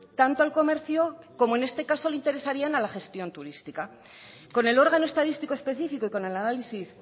tanto al comercio como en este caso le interesaría a la gestión turística con el órgano estadístico específico y con el análisis